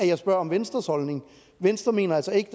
jeg spørger om venstres holdning venstre mener altså ikke